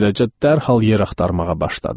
Beləcə dərhal yer axtarmağa başladım.